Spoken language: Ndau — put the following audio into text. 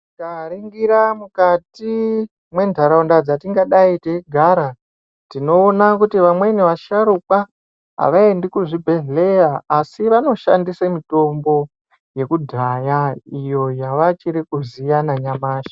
Tikaringira mukati mwentaraunda dzatingadai teigara tinoona kuti vamweni vasharukwa avaendi kuzvibhedhlera asi vanoshandise mitombo yekudhaya iyo yavachiri kuziya nanyamashi.